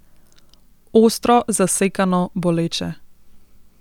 Ostro, zasekano, boleče.